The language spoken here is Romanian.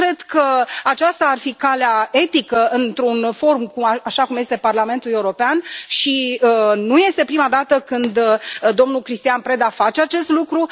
Eu cred că aceasta ar fi calea etică într un forum, așa cum este Parlamentul European, și nu este prima dată când domnul Cristian Preda face acest lucru.